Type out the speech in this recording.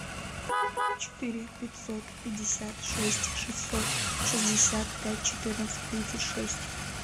четыре пятьсот пятьдесят шесть шестьсот шестьдесят пять четырнадцать тридцать шесть